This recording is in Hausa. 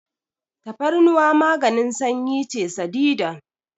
Tafarnuwa maganin sanyi ce sadidan.